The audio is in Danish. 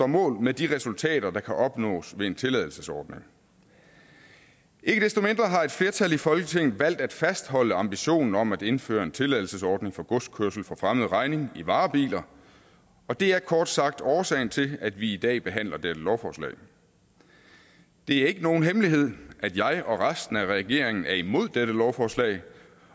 mål med de resultater der kan opnås ved en tilladelsesordning ikke desto mindre har et flertal i folketinget valgt at fastholde ambitionen om at indføre en tilladelsesordning for godskørsel for fremmed regning i varebiler og det er kort sagt årsagen til at vi i dag behandler dette lovforslag det er ikke nogen hemmelighed at jeg og resten af regeringen er imod dette lovforslag